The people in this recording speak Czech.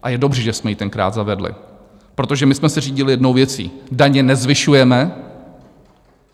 A je dobře, že jsme ji tenkrát zavedli, protože my jsme se řídili jednou věcí: daně nezvyšujeme.